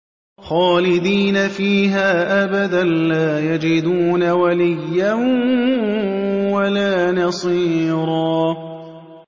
خَالِدِينَ فِيهَا أَبَدًا ۖ لَّا يَجِدُونَ وَلِيًّا وَلَا نَصِيرًا